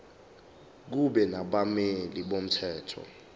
kube nabameli bomthetho